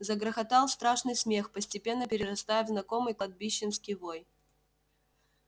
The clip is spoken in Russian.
загрохотал страшный смех постепенно перерастая в знакомый кладбищенский вой